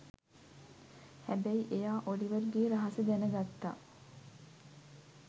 හැබැයි එයා ඔලිවර්ගේ රහස දැනගත්ත